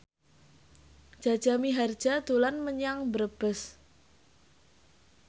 Jaja Mihardja dolan menyang Brebes